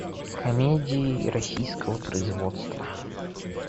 комедии российского производства